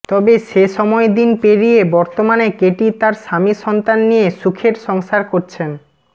তবে সে সময় দিন পেরিয়ে বর্তমানে কেটি তার স্বামী সন্তান নিয়ে সুখের সংসার করছেন